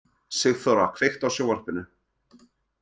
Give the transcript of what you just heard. Sigþóra, kveiktu á sjónvarpinu.